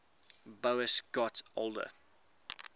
boas got older